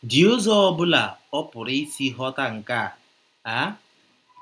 dị ụzọ ọ ọbụla ọ pụrụ isi ghọta nke a? a?